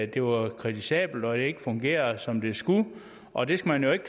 det var kritisabelt og at det ikke fungerede som det skulle og det skal man jo ikke